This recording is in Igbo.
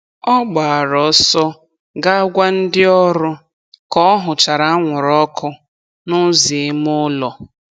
Ọ gbara ọsọ ga gwa ndị ọrụ ka ọ hụchara anwụrụ ọkụ n'ụzọ ime ụlọ.